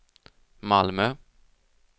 Malmö